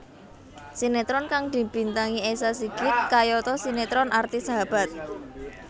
Sinetron kang dibintangi Esa Sigit kayata sinetron Arti Sahabat